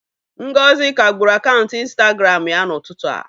Ngozi kagburu akaụntụ Ịnstagramụ ya n'ụtụtụ a.